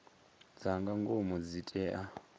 dza nga ngomu dzi tea